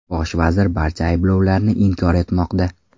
Bosh vazir barcha ayblovlarni inkor etmoqda.